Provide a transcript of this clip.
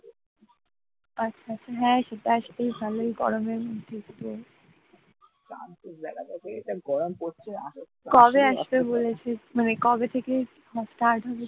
কবে আসবে বলেছে মানে কবে থেকে start হবে ।